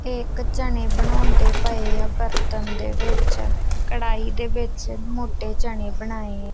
ਇਹ ਇੱਕ ਚਨੇ ਬਣਾਉਂਦੇ ਪਏ ਆਂ ਬਰਤਨ ਦੇ ਵਿੱਚ ਕੜ੍ਹਾਈ ਦੇ ਵਿੱਚ ਮੋਟੇ ਚਨੇ ਬਣਾਏ ਆ।